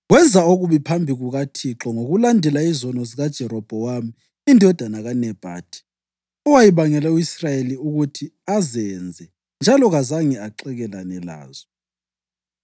Wenza okubi phambi kukaThixo ngokulandela izono zikaJerobhowamu indodana kaNebhathi, owayebangele u-Israyeli ukuthi azenze, njalo kazange axekelane lazo.